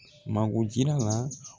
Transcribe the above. Mago jira la